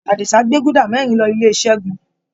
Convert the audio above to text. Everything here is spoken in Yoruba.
Adisa gbé guda mẹ́rin lọ ilé Segun.